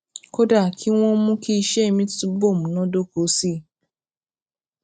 kódà kí wón mú kí iṣé mi túbò múnádóko sí i